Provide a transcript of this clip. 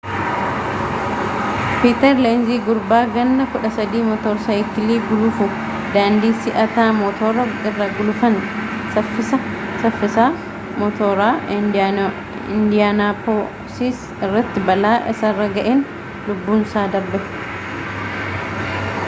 piiter leenzi gurbaa ganna 13 mootor saayikilii gulufu, daandii si’ataa mootora irra gulufan saffisaa mootoraa indiyaanaapoois irratti balaa isarra ga’een lubbunsaa darbe